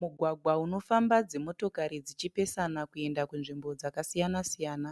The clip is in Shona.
Mugwagwa unofamba dzimotokari dzichipesana kuenda kunzvimbo dzakasiyana siyana,